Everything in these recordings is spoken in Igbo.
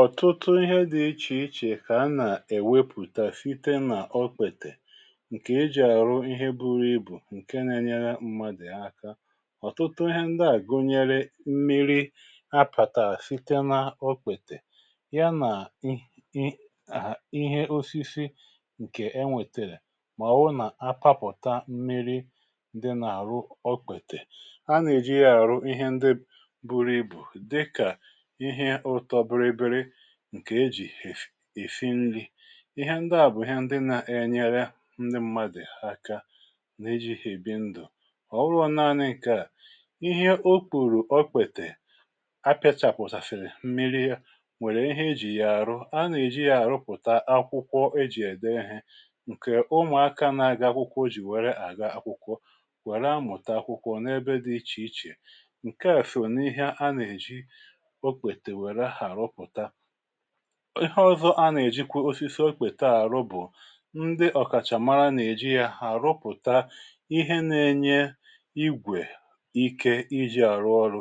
Ọtụtụ ihe dị̇ ichè ichè kà a nà-èwepùtà site n’ọkpètè ǹkè e jì àrụ ihe buru ibù ǹke na-enyere mmadè aka. Ọtụtụ ihe ndị àgụnyere: mmiri̇ apàtà site n’ọkpètè, ya nà i i ihe osisi ǹkè e nwètèrè mà ọ̀wụ nà-apapụ̀ta mmiri̇ dị nà-àrụ ọkpètè a nà-èji ya àrụ ihe ndị buru ibù dịkà ihe ụtọ bịrịbịrị ǹkè ejì èsi nri ihe ndị à bụ̀ ihe ndị nȧ-enyere ndị ṁmȧdụ̀ aka n’iji̇ hà èbi ndụ̀ ọ̀wụrụ naȧnị ǹke à, ihe o kpùrù okpètè a pịa chàpùtàsiri mmiri nwèrè ihe ejì ya àrụ a nà-èji ya àrụpụ̀ta akwụkwọ ejì ède ihe ǹkè umùaka n’aga akwụkwọ jì wère àga akwụkwọ wère amụ̀ta akwụkwọ n’ebe dị ichè ichè nkea só na ihe ana eji okpete weere arụpụta. Ịhe ọzọ a nà-èjikwa osisi okpèta àrụ bụ̀, ndị ọ̀kàchà mara nà-èji ya hàrụpụ̀ta ihe na-enye igwè ike iji àrụ ọrụ.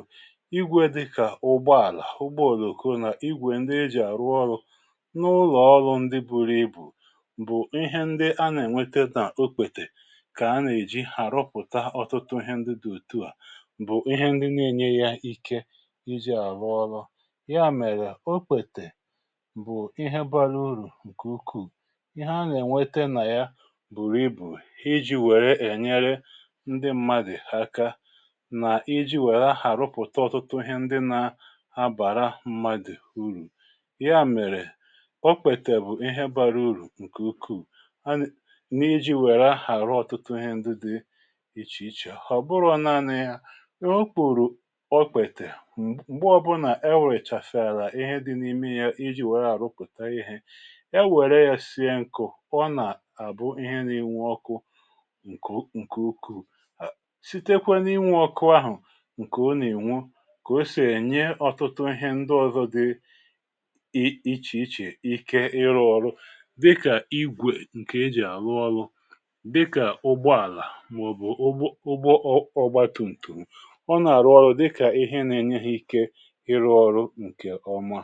Ịgwè dịkà ụgbọàlà, ụgbọ òlòko nà igwè ndị e jì àrụ ọrụ n’ụlọ̀ọlụ ndị buru ibù bụ̀ ihe ndị a nà-ènweta nà okpètè kà a nà-èji hàrụpụ̀ta ọ̀tụtụ ihe ndị dị ùtu à bụ̀ ihe ndị na-enye ya ike iji arụ ọrụ. Ya mere, okpete bụ̀ ihe bara urù ǹkè ukwuù ihe a nà-ènwete nà ya bụ̀rụ̀ ibù iji̇ wère ènyere ndị mmadù aka nà iji̇ wère àrụpụ̀ta ọ̀tụtụ ihe ndị nà-abàra mmadù urù ya mèrè, okpètè bụ̀ ihe bara urù ǹkè ukwuù na iji̇ wère àrụ ọ̀tụtụ ihe ndị dị ichè ichè. Ọ bụrọ̀ naȧnȧ ya okwuru okpete mgbe ọ bụla ewechasiara ihe dị na ime yal iji̇ wèrè àrụpụ̀taghi ihe ewère yȧ sie nkụ̀, ọ nà-àbụ ihe nȧ-iwu̇ ọkụ nkù nkè ukwụ. Sitekwe n’inwù ọkụ ahụ̀ ǹkè ọ nà-ènwo kà o sì ènye ọ̀tụtụ ihe ndị ọ̀zọ dị ichè ichè ike ịrụ̇ ọrụ dịkà, igwè nkè e jì àrụ ọrụ dịkà: ụgbọàlà mà ọ̀ bụ̀ ụgbọ ọgba tum̀tù ọ nà-àrụ ọrụ dịkà ihe nà-enye ha ike ịrụ ọrụ ǹkè ọma.